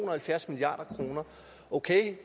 og halvfjerds milliard kroner